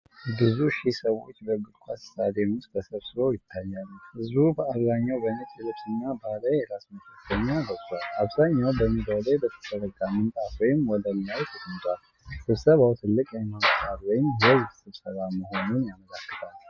ብዙ ሺህ ሰዎች በእግር ኳስ ስታዲየም ውስጥ ተሰብስበው ይታያሉ። ህዝቡ በአብዛኛው በነጭ ልብስና ባህላዊ የራስ መሸፈኛ ለብሷል፤ አብዛኛው በሜዳው ላይ በተዘረጋ ምንጣፍ ወይም ወለል ላይ ተቀምጧል። ስብሰባዉ ትልቅ የሃይማኖት በዓል ወይም የህዝብ ስብሰባ መሆኑን ያመለክታል።